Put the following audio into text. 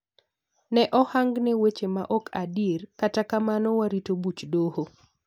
Ne ohangne weche maok adierkata kamano waritobuch doho.